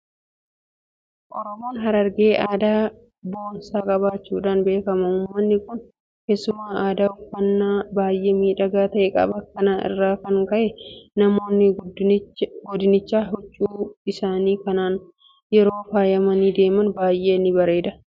Oromoon harargee aadaa boonsaa qabaachuudhaan beekama. Uummanni kun keessumaa aadaa uffannaa baay'ee miidhagaa ta'e qaba. Kana irraa kan ka'e namoonni godinichaa huccuu isaanii kanaan yeroo faayamanii deeman baay'ee irraa bareeda. Qabeenya Oromoo ta'uu isaaniis sabboonummaadhaan beeksifatu.